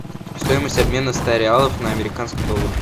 стоимость обмена ста реалов на американский доллар